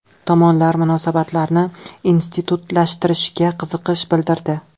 Tomonlar munosabatlarni institutlashtirishga qiziqish bildirdi.